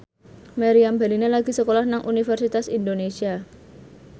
Meriam Bellina lagi sekolah nang Universitas Indonesia